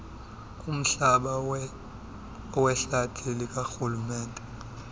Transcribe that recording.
kumhlaba wehlathi likarhulumente